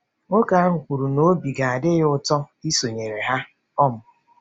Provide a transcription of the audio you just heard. Nwoke ahụ kwuru na obi ga-adị ya ụtọ isonyere ha um.